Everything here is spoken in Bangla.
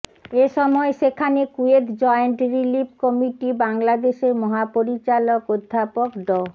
এ সময় সেখানে কুয়েত জয়েন্ট রিলিফ কমিটি বাংলাদেশের মহাপরিচালক অধ্যাপক ড